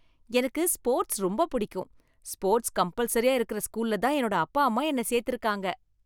எனக்கு ஸ்போர்ட்ஸ் ரொம்ப புடிக்கும். ஸ்போர்ட்ஸ் கம்பல்சரியா இருக்குற ஸ்கூல்ல தான் என்னோட அப்பா அம்மா என்ன சேர்த்திருக்காங்க.